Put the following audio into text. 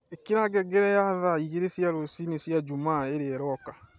ĩkĩra ngengere ya thaa igĩrĩ cia rũcinĩ cia Jumaa ĩrĩa ĩroka